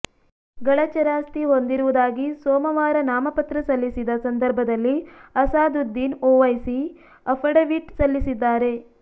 ಗಳ ಚರಾಸ್ತಿ ಹೊಂದಿರುವುದಾಗಿ ಸೋಮವಾರ ನಾಮಪತ್ರ ಸಲ್ಲಿಸಿದ ಸಂದರ್ಭದಲ್ಲಿ ಅಸಾದುದ್ದೀನ್ ಓವೈಸಿ ಅಫಿಡವಿಟ್ ಸಲ್ಲಿಸಿದ್ದಾರೆ